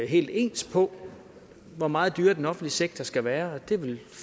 helt ens på hvor meget dyrere den offentlige sektor skal være og det er vel